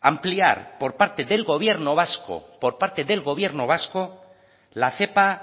ampliar por parte del gobierno vasco por parte del gobierno vasco la cepa